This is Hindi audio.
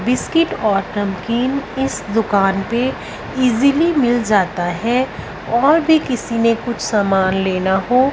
बिस्किट और नमकीन इस दुकान पे इजीली मिल जाता है और भी किसी ने कुछ सामान लेना हो--